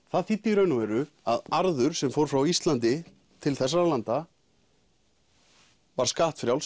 það þýddi í raun og veru að arður sem fór frá Íslandi til þessara landa var skattfrjáls